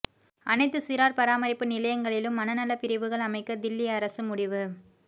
அனைத்து சிறாா் பராமரிப்பு நிலையங்களிலும் மனநலப் பிரிவுகள் அமைக்க தில்லி அரசு முடிவு